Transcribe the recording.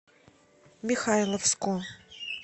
михайловску